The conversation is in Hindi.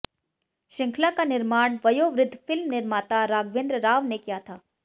श्रृंखला का निर्माण वयोवृद्ध फिल्म निर्माता राघवेंद्र राव ने किया था